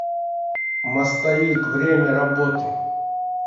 мостовик время работы